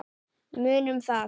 Munum það.